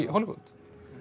Hollywood